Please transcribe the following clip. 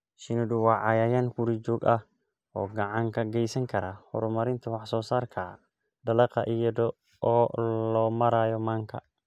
Shinnidu waa cayayaan guri-joog ah oo gacan ka geysan kara horumarinta wax-soo-saarka dalagga iyada oo loo marayo manka.